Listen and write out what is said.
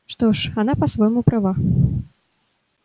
что ж она по-своему права